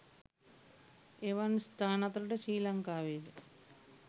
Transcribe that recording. එවන් ස්ථාන අතරට ශ්‍රී ලංකාවේ ද